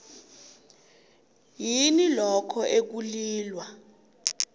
yini lokho ekulilwa